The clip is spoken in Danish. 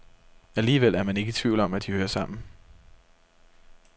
Alligevel er man ikke i tvivl om, at de hører sammen.